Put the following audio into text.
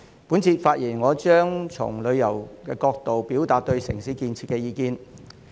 我這次發言將從旅遊業角度表達對城市建設的意見。